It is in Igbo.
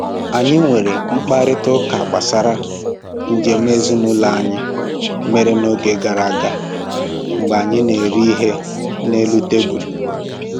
Anyị nwere mkparịta ụka gbasara njem ezinụlọ anyị mere n'oge gara aga mgbe anyị na-eri ihe n'elu tebụlụ